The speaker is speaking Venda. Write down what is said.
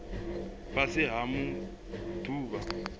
fhasi ha maḓuvha a u